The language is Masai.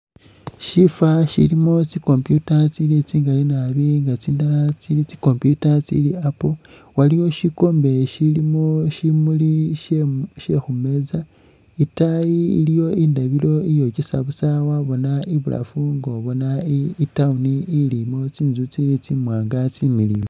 Shifa shilimo tsi' computer tsili tsingali naabi nga tsindala tsi'computer tsili tsa'apple waliwo shikombe shilimo shimuli shekhu shekhumeza, itaayi iliyo indabilo iyokyesa busa wabona ibulafu nga nubona i'town ilimo tsinzu tsili tsi'mwanga tsimiliyu